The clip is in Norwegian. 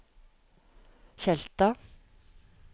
Tjelta